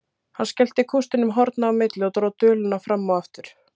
Hann skellti kústinum horna á milli og dró duluna fram og aftur.